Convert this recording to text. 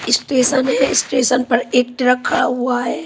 Station है station पर एक ट्रक खड़ा हुआ है।